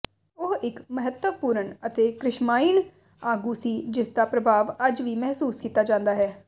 ਉਹ ਇੱਕ ਮਹੱਤਵਪੂਰਣ ਅਤੇ ਕ੍ਰਿਸ਼ਮਾਇਣ ਆਗੂ ਸੀ ਜਿਸਦਾ ਪ੍ਰਭਾਵ ਅੱਜ ਵੀ ਮਹਿਸੂਸ ਕੀਤਾ ਜਾਂਦਾ ਹੈ